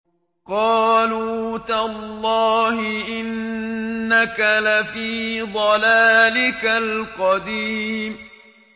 قَالُوا تَاللَّهِ إِنَّكَ لَفِي ضَلَالِكَ الْقَدِيمِ